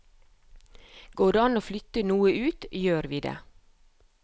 Går det an å flytte noe ut, gjør vi det.